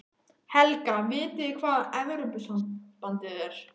Helga: Vitið þið hvað Evrópusambandið er?